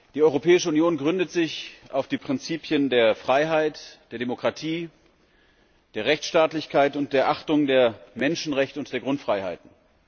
Die Europäische Union gründet sich auf den Prinzipien der Freiheit, der Demokratie, der Rechtsstaatlichkeit und der Achtung der Menschenrechte und der Grundfreiheiten.